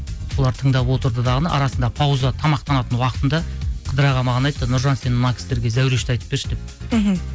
олар тыңдап отырды дағыны арасында пауза тамақтанатын уақытында қыдырәлі аға маған айтты нұржан сен мына кісілерге зәурешті айтып берші деп мхм